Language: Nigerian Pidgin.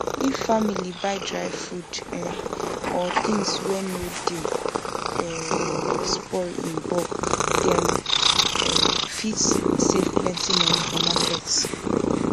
if family buy dry food um or things wey no dey um spoil in bulk dem um fit save plenty money for market